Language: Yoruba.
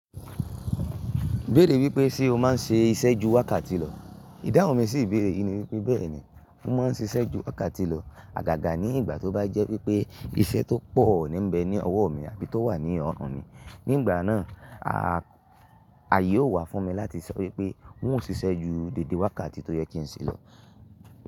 Béèrè wípé sé o má ń ṣe iṣẹ́ ju wákàtí lọ? Ìdáhùn mi sì béèrè, ìní wípé bẹ́ẹ̀ ni, mo ma ń ṣe iṣẹ́ ju wákàtí lọ, àgàgà ní ìgbà tó bá jẹ́ wípé iṣẹ́ tó pọ̀ nímbe ní ọwọ́ mi abí tó wà ní ọrùn mi. Ni ìgbà náà, aye yóò wà fún mi láti sọ wípé wo ò ṣiṣẹ́ ju dédé wákàtí tó yẹ kí n ṣe lọ.